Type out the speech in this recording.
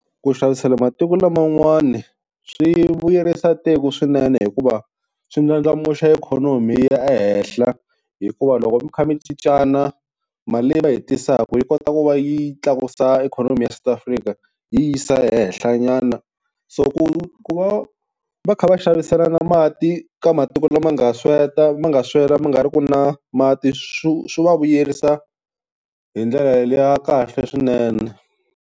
Ku xavisela matiko laman'wani swi vuyerisa tiko swinene hikuva swi ndlandlamuxa ikhonomi yi ya ehenhla, hikuva loko mi kha mi cincana mali leyi va yi tisaka yi kota ku va yi tlakusa ikhonomi ya South Africa yi yisa ehenhlanyana. So ku ku va va kha va xaviselana mati ka matiko lama nga sweka, ma nga swela ma nga ri ku na mati swo swi va vuyerisa hi ndlela ya kahle swinene.